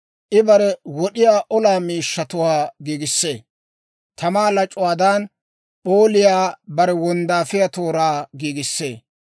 I bare wod'iyaa olaa miishshatuwaa giigissee; Tamaa lac'uwaadan p'ooliyaa bare wonddaafiyaa tooraa giigissee.